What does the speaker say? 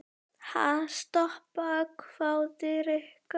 Ha, stoppa? hváði Rikka.